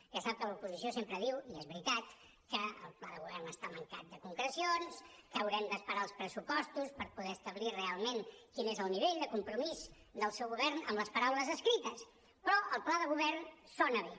ja sap que l’oposició sempre diu i és veritat que el pla de govern està mancat de concrecions que haurem d’esperar els pressupostos per poder establir realment quin és el nivell de compromís del seu govern amb les paraules escrites però el pla de govern sona bé